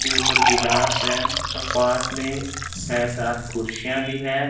के ऊपर गिलास है और पास में सै सात कुर्सियां भी है।